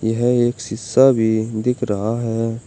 यह एक शिशा भी दिख रहा है।